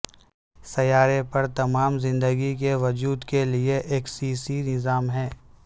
سیارے پر تمام زندگی کے وجود کے لئے ایکسیسی نظام ہے